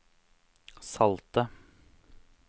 salte